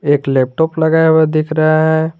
एक लैपटॉप लगाया हुआ दिख रहे है।